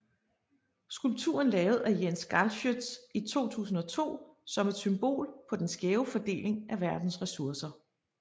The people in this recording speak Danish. Skulpturen lavet af Jens Galschiøt i 2002 som et symbol på den skæve fordeling af verdens ressourcer